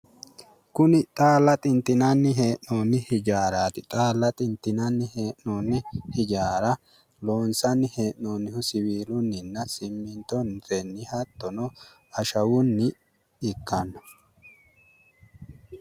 Kuni xaalla xintinanni hee'noonni hijaaraati, xaalla xintinanni hee'noonni hijaara loonsanni hee'noonnihu siwiilunninna simmintotenni hattono ashshawunni ikkanno.